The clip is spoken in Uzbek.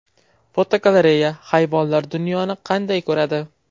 Fotogalereya: Hayvonlar dunyoni qanday ko‘radi?.